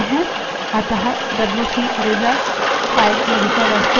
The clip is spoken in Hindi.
अतः डब्ल्यूसी रिजल्ट file की विषयवस्तु अधिलेखित हो जायेगी